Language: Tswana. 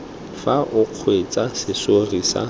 fa o kgweetsa serori se